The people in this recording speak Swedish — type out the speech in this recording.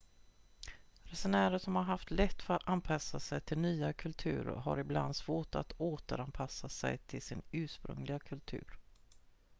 resenärer som har haft lätt för att anpassa sig till nya kulturer har ibland svårt att återanpassa sig till sin ursprungliga kultur